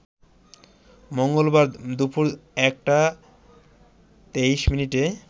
মঙ্গলবার দুপুর ১টা ২৩ মিনিটে